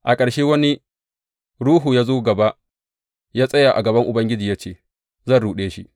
A ƙarshe, wani ruhu ya zo gaba, ya tsaya a gaban Ubangiji ya ce, Zan ruɗe shi.’